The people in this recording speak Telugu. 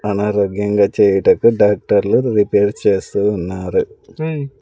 అనారోగ్యంగా చేయుటకు డాక్టర్లు రిపేర్ చేస్తూ ఉన్నారు.